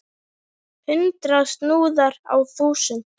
Hundrað snúðar á þúsund!